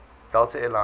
delta air lines